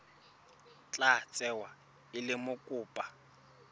tla tsewa e le mokopa